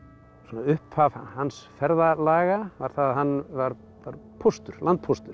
upphaf hans ferðalaga var það að hann var póstur póstur